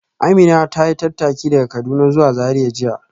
Amina ta yi tattaki daga Kaduna zuwa Zariya jiya